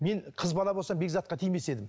мен қыз бала болсам безатқа тимес едім